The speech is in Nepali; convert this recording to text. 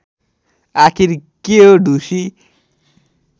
आखिर के हो ढुसी